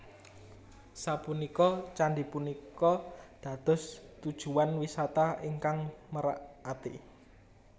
Sapunika candhi punika dados tujuwan wisata ingkang merak ati